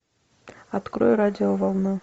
открой радио волна